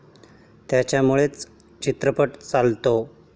त्याच्यामुळेच चित्रपट चालतो.